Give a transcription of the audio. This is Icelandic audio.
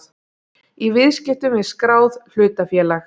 í viðskiptum við skráð hlutafélag.